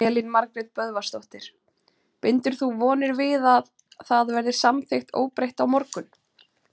Elín Margrét Böðvarsdóttir: Bindur þú vonir við að það verði samþykkt óbreytt á morgun?